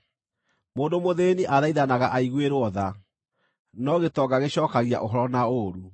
Mũndũ mũthĩĩni athaithanaga aiguĩrwo tha, no gĩtonga gĩcookagia ũhoro na ũũru.